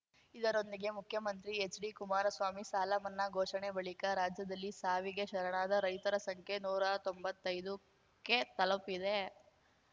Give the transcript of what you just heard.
ಇದರೊಂದಿಗೆ ಮುಖ್ಯಮಂತ್ರಿ ಎಚ್‌ಡಿಕುಮಾರಸ್ವಾಮಿ ಸಾಲಮನ್ನಾ ಘೋಷಣೆ ಬಳಿಕ ರಾಜ್ಯದಲ್ಲಿ ಸಾವಿಗೆ ಶರಣಾದ ರೈತರ ಸಂಖ್ಯೆ ನೂರಾ ತೊಂಬತ್ತೈದುಕ್ಕೆ ತಲುಪಿದೆ